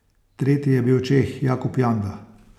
Tretji je bil Čeh Jakub Janda.